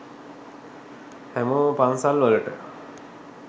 හැමෝම පන්සල් වලට